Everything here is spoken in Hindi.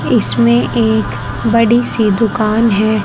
इसमें एक बड़ी सी दुकान है।